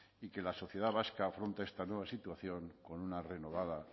y que la sociedad vasca afronta esta nueva situación con una renovada